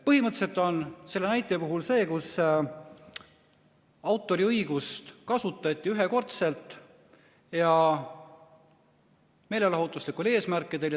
" Põhimõtteliselt on selle näite puhul see, kus autoriõigust kasutati ühekordselt ja meelelahutuslikel eesmärkidel.